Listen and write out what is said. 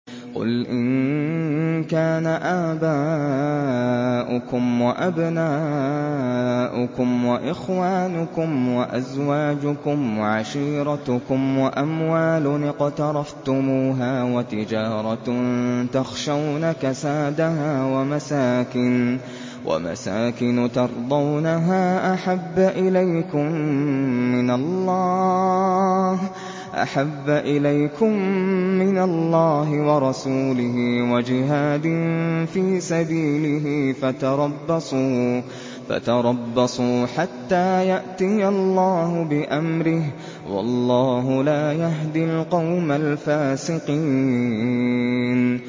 قُلْ إِن كَانَ آبَاؤُكُمْ وَأَبْنَاؤُكُمْ وَإِخْوَانُكُمْ وَأَزْوَاجُكُمْ وَعَشِيرَتُكُمْ وَأَمْوَالٌ اقْتَرَفْتُمُوهَا وَتِجَارَةٌ تَخْشَوْنَ كَسَادَهَا وَمَسَاكِنُ تَرْضَوْنَهَا أَحَبَّ إِلَيْكُم مِّنَ اللَّهِ وَرَسُولِهِ وَجِهَادٍ فِي سَبِيلِهِ فَتَرَبَّصُوا حَتَّىٰ يَأْتِيَ اللَّهُ بِأَمْرِهِ ۗ وَاللَّهُ لَا يَهْدِي الْقَوْمَ الْفَاسِقِينَ